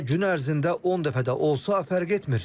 Hətta gün ərzində 10 dəfə də olsa fərq etmir.